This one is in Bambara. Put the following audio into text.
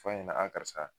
Fɔ a ɲɛna a karisa